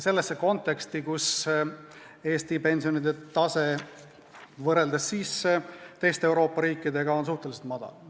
Sellesse konteksti, kus Eesti pensionide tase on teiste Euroopa riikide tasemega võrreldes suhteliselt madal.